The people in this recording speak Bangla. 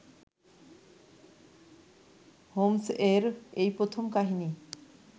হোমস-এর এই প্রথম কাহিনী